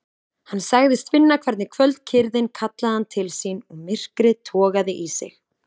Hann sagðist finna hvernig kvöldkyrrðin kallaði hann til sín og myrkrið togaði í sig.